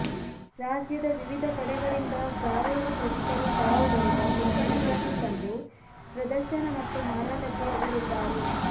ರಾಜ್ಯದ ವಿವಿಧ ಕಡೆಗಳಿಂದ ಸಾವಯವ ಕೃಷಿಕರು ತಾವು ಬೆಳೆದ ಉತ್ಪನ್ನಗಳನ್ನು ತಂದು ಪ್ರದರ್ಶನ ಮತ್ತು ಮಾರಾಟಕ್ಕೆ ಇಡಲಿದ್ದಾರೆ